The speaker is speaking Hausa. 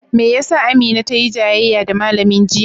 Me ya sa Amina tayi jayayya da malamin jiya?